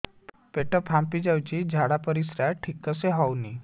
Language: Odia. ପେଟ ଫାମ୍ପି ଯାଉଛି ଝାଡ଼ା ପରିସ୍ରା ଠିକ ସେ ହଉନି